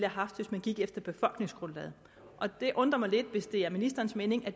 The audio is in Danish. haft hvis vi gik efter befolkningsgrundlaget det undrer mig lidt hvis det er ministerens mening at